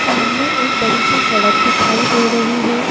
सामने एक बड़ी सी सड़क दिखाई दे रही है।